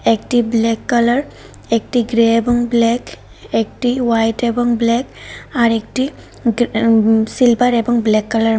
একটি black colour একটি grey এবং ব্ল্যাক একটি হোয়াইট এবং ব্ল্যাক আরেকটি উঁম সিলভার এবং ব্ল্যাক কালার -এর ম --